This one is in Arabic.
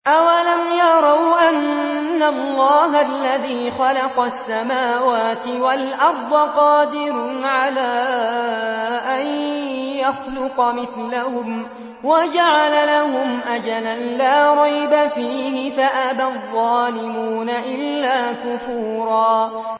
۞ أَوَلَمْ يَرَوْا أَنَّ اللَّهَ الَّذِي خَلَقَ السَّمَاوَاتِ وَالْأَرْضَ قَادِرٌ عَلَىٰ أَن يَخْلُقَ مِثْلَهُمْ وَجَعَلَ لَهُمْ أَجَلًا لَّا رَيْبَ فِيهِ فَأَبَى الظَّالِمُونَ إِلَّا كُفُورًا